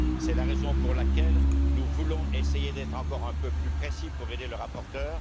C'est la raison pour laquelle nous voulons essayer d'être encore un peu plus précis pour aider le rapporteur.